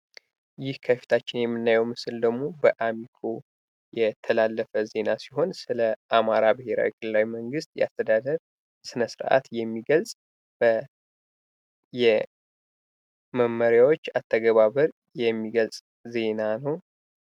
ይህ ከፊታችን የምናየው ምስል ደግሞ በአሚኮ የተላለፈ ዜና ሲሆን ስለ አማራ ብሔራዊ ክልላዊ መንግስት የአስተዳደር ስነስርአት የሚገልጽ የመመሪያዎች አተገባበር የሚገልጽ ዜና ነው።